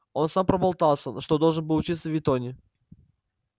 он сам проболтался что должен был учиться в итоне